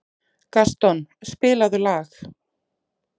Gaston, spilaðu lag.